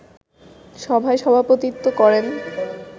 সভায় সভাপতিত্ব করেন